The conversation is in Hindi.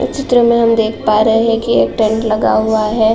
इस चित्र में हम देख पा रहे हैं कि एक टेंट लगा हुआ है।